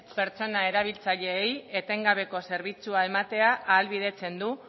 pertsona erabiltzaileei etengabeko zerbitzua ematea ahalbidetzen du